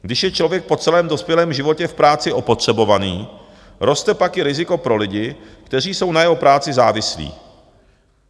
Když je člověk po celém dospělém životě v práci opotřebovaný, roste pak i riziko pro lidi, kteří jsou na jeho práci závislí.